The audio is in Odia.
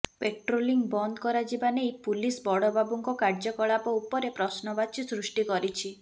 ପାଟ୍ରୋଲିଂ ବନ୍ଦ କରାଯିବା ନେଇ ପୁଲିସ ବଡ଼ବାବୁଙ୍କ କାର୍ଯ୍ୟକଳାପ ଉପରେ ପ୍ରଶ୍ନବାଚୀ ସୃଷ୍ଟି କରିଛି